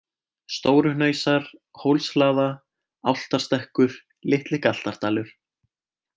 Stóruhnausar, Hólshlaða, Álftárstekkur, Litli-Galtardalur